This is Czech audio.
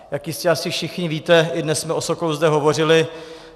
Jak jistě asi všichni víte, i dnes jsme o Sokolu zde hovořili.